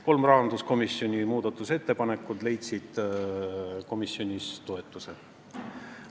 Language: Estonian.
Kolm rahanduskomisjoni muudatusettepanekut leidsid komisjonis toetuse.